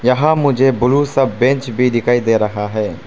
यहां मुझे ब्लू सब बेंच भी दिखाई दे रहा है।